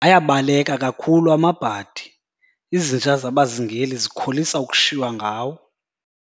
Ayabaleka kakhulu amabhadi, izinja zabazingeli zikholisa ukushiywa ngawo.